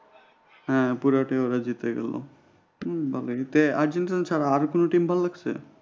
হ্যাঁ পুরোটাই ওরা জিতে গেল ভালো এতে আর্জেন্টিনার ছাড়া আর কোন team ভালো লাগছে?